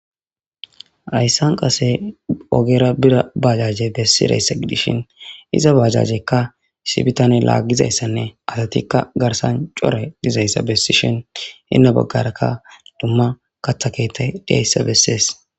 Hayssan qase ogera bira bajaje bessidayssa gidishin iza bajajekka issi bitane laaggizayssanne asatikka garsan core dizayssa bessishin hinna baggarakka dumma kathakeettay dayssa bessees.